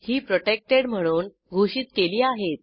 ही protected म्हणून घोषित केली आहेत